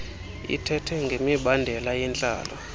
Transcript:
ithethe ngemibandela yentlalo